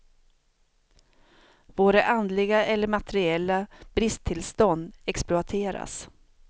Våra andliga eller materiella bristtillstånd exploateras.